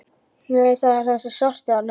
Nei, það er þessi svarti þarna!